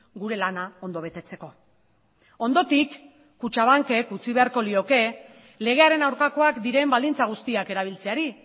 gure lana ondo betetzeko ondotik kutxabankek utzi beharko lioke legearen aurkakoak diren baldintza guztiak erabiltzeari